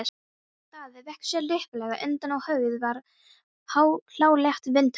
Daði vék sér lipurlega undan og höggið varð hlálegt vindhögg.